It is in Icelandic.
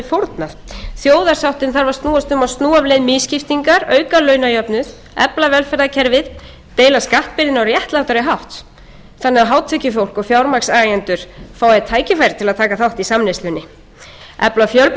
fórnað þjóðarsáttin þarf að snúast um að snúa af leið misskiptingar auka launajöfnuð efla velferðarkerfið deila skattbyrðinni á réttlátari hátt þannig að hátekjufólk og fjármagnseigendur fái tækifæri til að taka þátt í samneyslunni efla fjöla fjölbreytt